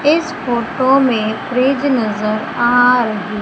इस फोटो में फ्रिज नजर आ रही--